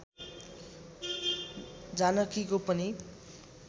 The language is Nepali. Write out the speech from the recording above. जानकीको पनि